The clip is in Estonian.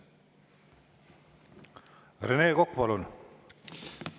Rene Kokk, palun!